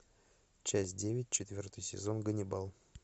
часть девять четвертый сезон ганнибал